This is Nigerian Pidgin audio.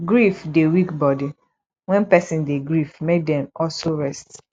grief dey weak body when person dey grief make dem also rest